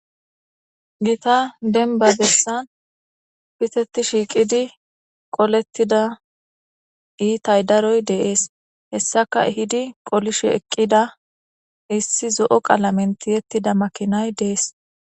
gita denba bessan piteti shiiqidi qolettida iitay daroy de'ees hessaka ehidi qolishe eqqida issi zo'o qalamen tiyettida makinay dees